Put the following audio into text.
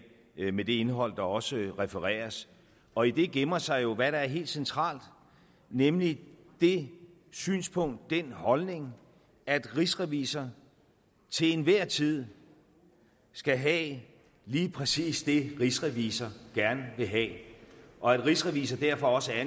med det indhold der også refereres og i det gemmer sig jo hvad der er helt centralt nemlig det synspunkt den holdning at rigsrevisor til enhver tid skal have lige præcis det rigsrevisor gerne vil have og at rigsrevisor derfor også er